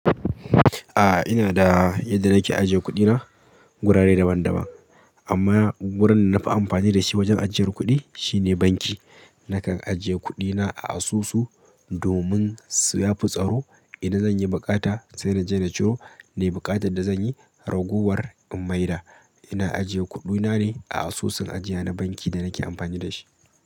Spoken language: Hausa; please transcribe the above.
A'a ina da yadda nake ajiye kuɗina, wurare daban daban. Amma wurin da na fi amfani da shi wajen ajiyar kuɗi shine banki. Nakan ajiye kuɗina a asusu domin su ya fi tsaro. Idan zan yi buƙata sai na je na ciro. Nayi buƙatar da zan yi, ragowar in maida. Ina ajiye kuɗina ne, a asusun ajiya na bankin da nake amfani da shi.